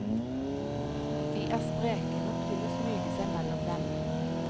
De er spreke nok til å smyge seg mellom dem.